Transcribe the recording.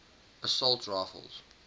assault rifles